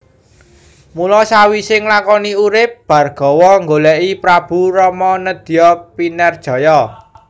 Mula sawisé nglakoni urip Bhargawa nggolèki Prabu Rama nedya pinerjaya